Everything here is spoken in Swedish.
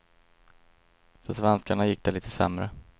För svenskarna gick det lite sämre.